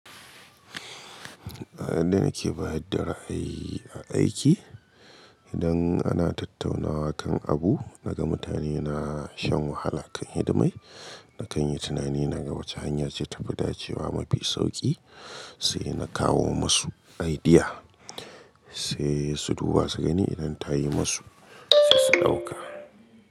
A inda nake bayar da ra'ayi a aiki, idan ana tattaunawa kan abu, naga mutane na shan wahala kan hidimai. Na kan yi tunani, naga wace hanya ce ta fi dace wa mafi sauƙi, sai na kawo musu idea, sai su duba su gani idan ta yi musu, sai su ɗauka.